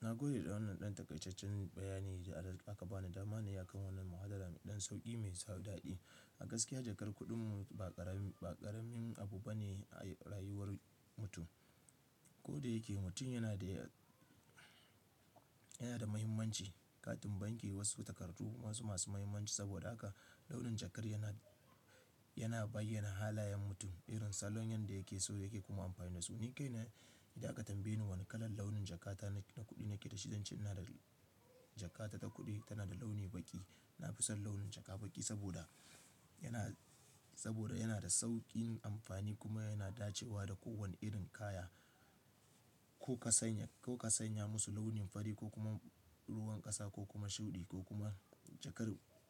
Na gode da wannan ɗan takaitaccen bayani da aka bani. Dama na yi kan wannan muhadara mai ɗan sauƙi mai sa daɗi. A gaskiya jakar kuɗin mu ba ƙaramin abu bane a rayuwar mutum. Ko da yake mutum yanade yana da muhimmanci, katin banki, wasu takardu wasu masu muhimmanci saboda haka launin jakar yana bayyana halayan mutum, irin salon yan da yake so da yake kuma amfani da su. Ni kaine idan aka tambaye ni wane kalar launin jakata na kuɗi nake da shi, zan ce ina da jakata ta kuɗi tana da launi baƙi. Na fi son launin jaka baƙi saboda yana da sauƙin amfani kuma yana dacewa da kowane irin kaya. Ko ka sanya musu launin fari ko kuma ruwan ƙasa ko kuma shuɗi ko kuma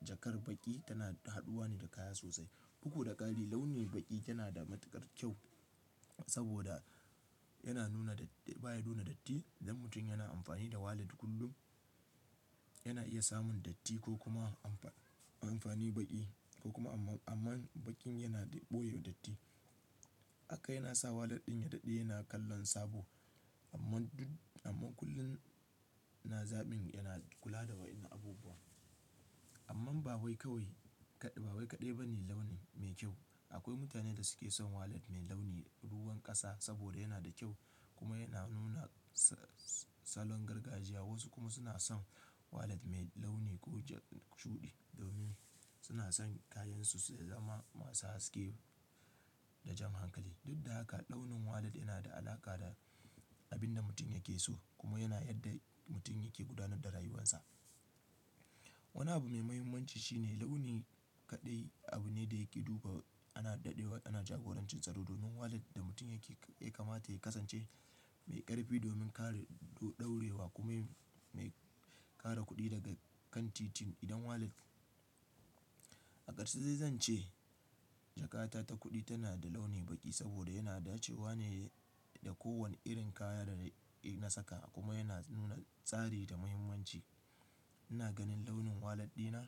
jakar baƙi tana haduwa ne da kaya sosai. Ɗuk da ƙari launi baƙi yana da matuƙar kyau saboda baya nuna datti. Idan mutum yana amfani da walat kullum yana iya samun datti ko kuma amfani baƙi ko kuma amma baƙin yana ɓoye datti. Haka yana sa walat ɗin ya dade yana kallon sabo amma kullum na zabin yana kula da wa'annan abubuwa. Amma ba wai bawai kaɗai bane launi mai kyau. Akwai mutanen da suke son walat mai launi ruwan ƙasa saboda yana da kyau kuma yana nuna salon gargajiya. Wasu kuma suna son walat mai launi shuɗi domin suna son kayansu su zama masu haske da jan hankali. Duk da haka launin walat yana da alaƙa da abin da mutum yake so kuma yana yadda mutum yake gudanar da rayuwarsa. Wani abu mai muhimmanci shine launi kaɗai abu ne da yake duba ana jagorancin tsaro. Domin walat da mutum yake kamata ya kasance mai ƙarfi domin kare ɗorewa kuma mai kare kuɗi daga kan titin. Idan walat, a ƙarshe zan ce jakata ta kuɗi tana da launi baƙi saboda yana dacewa ne da kowane irin kaya da na saka kuma yana nuna tsari da muhimmanci. Ina ganin launin walat ɗina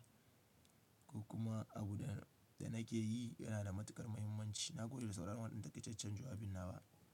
kuma abu da nake yi yana da matuƙar muhimmanci. Na gode da sauran wannan ɗan takaitacen jawabina wa.